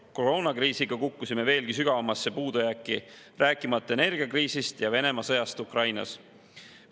Koroonakriisiga kukkusime veelgi sügavamasse puudujääki, rääkimata energiakriisist ja Venemaa sõjast Ukrainas.